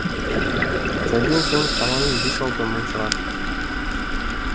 сәлден соң шамамен бес алты мың шығар